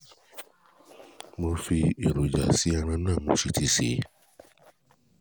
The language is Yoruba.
mo fi èròjà sí ẹran náà mo si ti sè é